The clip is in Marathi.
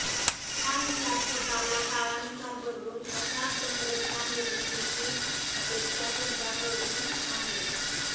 त्यानुसार स्वतःला काळानुसार बदलून अशा तंत्रज्ञान निर्मितीची अपेक्षा तुमच्याकडून आहे